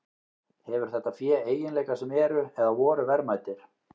Hefur þetta fé eiginleika sem eru, eða voru, verðmætir?